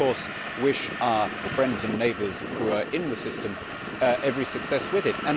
We of course wish our friends and neighbours who are in the system every success with it.